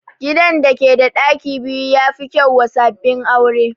Gidan da ke da ɗaki biyu ya fi kyau wa sabbin aure